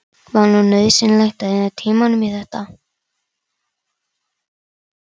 Var nú nauðsynlegt að eyða tímanum í þetta!